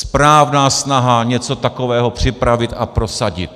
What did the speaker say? Správná snaha něco takového připravit a prosadit!